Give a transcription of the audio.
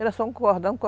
Era só um cordão.